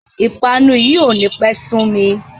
Ìpanu yìí ó ní pẹ́ sumi